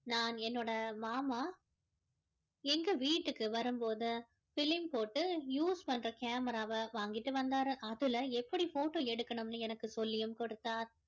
நான் என்னோட மாமா எங்க வீடுக்கு வரும்போது film போட்டு use பண்ற camera ராவ வாங்கிட்டு வந்தாரு அதுல எப்படி photo எடுக்கணும்னு எனக்கு சொல்லியும் கொடுத்தார்